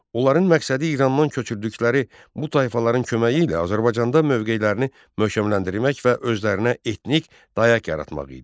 Onların məqsədi İrandan köçürdükləri bu tayfaların köməyi ilə Azərbaycanda mövqeylərini möhkəmləndirmək və özlərinə etnik dayaq yaratmaq idi.